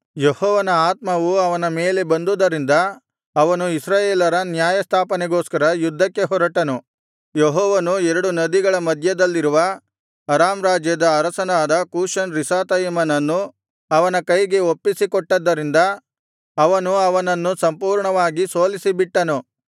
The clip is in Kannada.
ಯೆಹೋವನ ಆತ್ಮವು ಅವನ ಮೇಲೆ ಬಂದುದರಿಂದ ಅವನು ಇಸ್ರಾಯೇಲರ ನ್ಯಾಯಸ್ಥಾಪನೆಗೋಸ್ಕರ ಯುದ್ಧಕ್ಕೆ ಹೊರಟನು ಯೆಹೋವನು ಎರಡು ನದಿಗಳ ಮಧ್ಯದಲ್ಲಿರುವ ಅರಾಮ್ ರಾಜ್ಯದ ಅರಸನಾದ ಕೂಷನ್ ರಿಷಾತಯಿಮನನ್ನು ಅವನ ಕೈಗೆ ಒಪ್ಪಿಸಿಕೊಟ್ಟದ್ದರಿಂದ ಅವನು ಅವನನ್ನು ಸಂಪೂರ್ಣವಾಗಿ ಸೋಲಿಸಿಬಿಟ್ಟನು